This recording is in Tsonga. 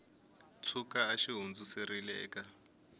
tshuka a xi hundziserile eka